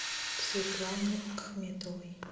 светланой ахметовой